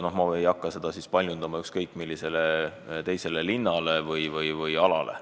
Ma ei hakka seda laiendama ükskõik millisele teisele linnale või alale.